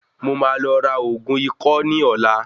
Mo máa lọ ra ògún ikọ́ ní ọ̀la.